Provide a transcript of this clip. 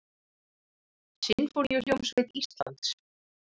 Sinfóníuhljómsveit Íslands.